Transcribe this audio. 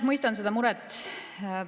Mõistan seda muret.